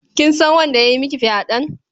Kin san wanda ya yi miki fyaɗen?